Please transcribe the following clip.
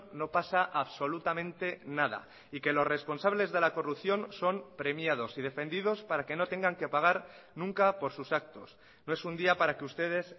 no pasa absolutamente nada y que los responsables de la corrupción son premiados y defendidos para que no tengan que pagar nunca por sus actos no es un día para que ustedes